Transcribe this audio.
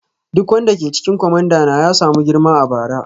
Duk wanda ke cikin kwamandana ya samu girma a bara.